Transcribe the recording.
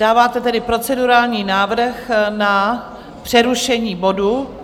Dáváte tedy procedurální návrh na přerušení bodu.